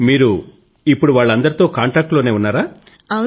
మీరు వాళ్ళందరితో కాంటాక్ట్ లోనే ఉన్నారా